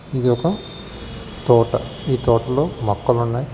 ఇది ఒక తోట. ఈ తోటలో మొక్కలు ఉన్నాయ్.